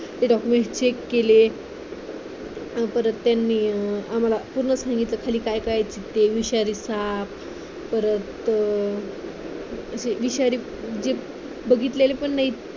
ते document check केले परत त्यांनी आम्हाला पुन्हा सांगितलं खाली काय काय आहे चित्ते, विषारी साप परत विषारी जे बघितलेले पण नाहीत